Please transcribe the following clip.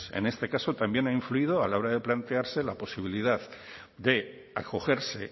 en este caso también ha influido a la hora de plantearse la posibilidad de acogerse